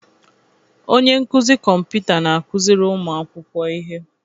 Onye nkụzi kọmputa na-akụziri ụmụ akwụkwọ ihe.